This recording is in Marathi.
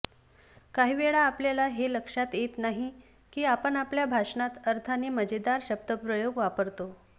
काही वेळा आपल्याला हे लक्षात येत नाही की आपण आपल्या भाषणात अर्थाने मजेदार शब्दप्रयोग वापरतो